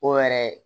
O yɛrɛ